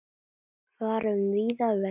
Fara um víðan völl.